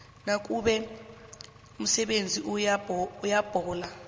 nakube umsebenzi uyabhala